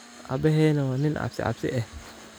Abahena wa nin cabsi cabsi eh.